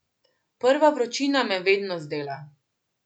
Prva vročina me vedno zdela.